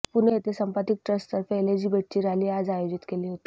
पुणे येथे संपथिक ट्रस्ट तर्फे एलजीबीटीची रॅली आज आयोजित केली होती